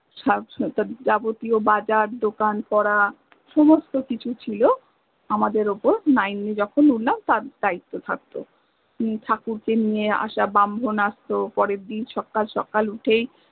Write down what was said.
বাজার দোকান করা সমস্ত কিছু ছিল আমাদের উপর nine এ য্খন উঠেলাম তার দায়িত্ব থাকত ঠাকুরকে নিয়ে আসা ব্রাহ্মণ আসত পরের দিন সকাল সকাল উঠেই